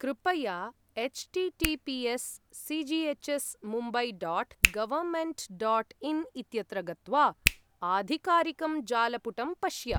कृपया H TTPS CGH S Mumbai dot government dot in इत्यत्र गत्वा आधिकारिकं जालपुटं पश्य।